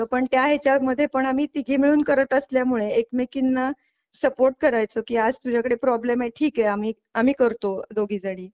पण त्या ह्याच्या मध्ये पण आम्ही तिघी मिळून करत असल्यामुळे एकमेकींना सपोर्ट करायचो की आज तुझ्याकडे प्रॉब्लेम आहे ठीक आहे आम्ही आम्ही करतो दोघी जणी.